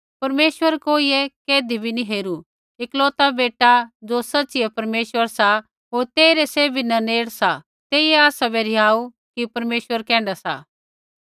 परमेश्वर कोइयै कैधी भी नैंई हेरू एकलौता बेटा ज़ो सच़िऐ परमेश्वर सा होर तेइरै सैभी न नेड़ सा तेइयै आसाबै रिहाऊ कि परमेश्वर कैण्ढा सा